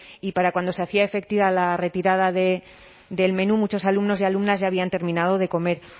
y para cuando se hacía efectiva la retirada del menú muchos alumnos y alumnas ya habían terminado de comer